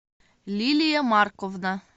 лилия марковна